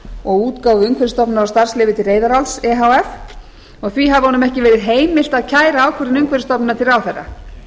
og útgáfu umhverfisstofnunar á starfsleyfi til reyðaráls e h f og því hafi honum ekki verið heimilt að kæra ákvörðun umhverfisstofnunar til ráðherra